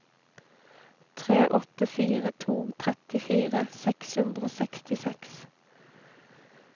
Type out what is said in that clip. tre åtte fire to trettifire seks hundre og sekstiseks